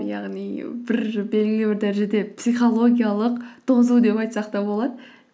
яғни бір белгілі бір дәрежеде психологиялық тозу деп айтсақ та болады